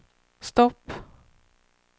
stopp